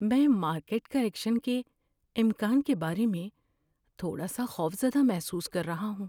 میں market correction کے امکان کے بارے میں تھوڑا سا خوفزدہ محسوس کر رہا ہوں۔